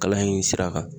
Kalan in sira kan